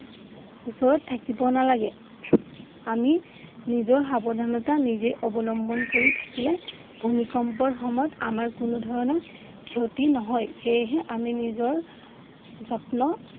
ওচৰত থাকিব নালাগে। আমি নিজৰ সাৱধানতা নিজেই অৱলম্বন কৰি থাকিলে ভূমিকম্পৰ সময়ত আমাৰ কোনোধৰণৰ ক্ষতি নহয় সেয়েহে আমি নিজৰ যত্ন